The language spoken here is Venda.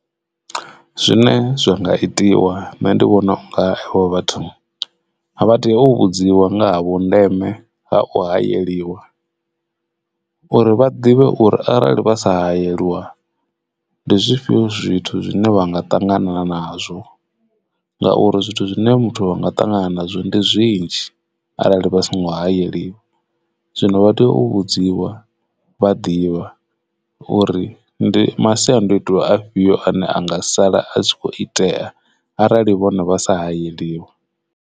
Zwine zwa nga itiwa nṋe ndi vhona unga avho vhathu vha tea u vhudziwa nga ha vhu ndeme ha u hayeliwa uri vha ḓivhe uri arali vha sa hayeliwa ndi zwifhio zwithu zwine vha nga ṱangana nazwo ngauri zwithu zwine muthu a nga ṱangana nazwo ndi zwinzhi arali vha songo hayeliwa zwino vha u vhudziwa vha ḓivha uri ndi masiandoitwa afhio ane anga sala a tshi kho itea arali vhone vha sa hayeliwa.